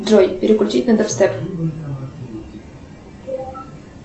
джой переключить на дабстеп